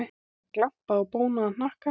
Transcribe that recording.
Það glampaði á bónaðan hnakkann.